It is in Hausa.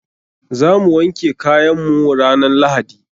Za mu wanke kayan mu ranan lahadi.